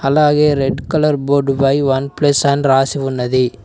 అలాగే red colour board పై one plus అని రాసి ఉన్నది.